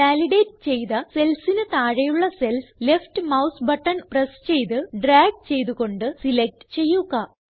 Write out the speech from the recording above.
validate ചെയ്ത cellsന് താഴെയുള്ള cells left mouse button press ചെയ്ത് ഡ്രാഗ് ചെയ്ത് കൊണ്ട് സിലക്റ്റ് ചെയ്യുക